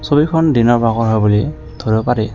ছবিখন দিনৰ ভাগৰ হয় বুলি ধৰিব পাৰি।